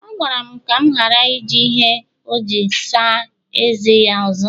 ọ gwara m ka m ghara iji ihe ọjị asaa eze ya ọzọ